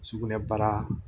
Sugunɛbara